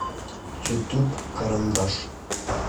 ютуб карандаш